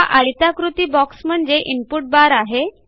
हा आयताकृती बॉक्स म्हणजे इनपुट बार आहे